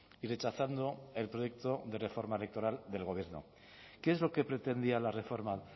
y rechazando el proyecto de reforma electoral del gobierno qué es lo que pretendía la reforma